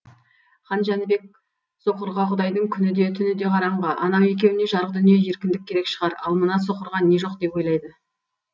хан жәнібек соқырға құдайдың күні де түні де қараңғы анау екеуіне жарық дүние еркіндік керек шығар ал мына соқырға не жоқ деп ойлайды